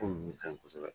Ko nunnu ka ɲi kosɛbɛ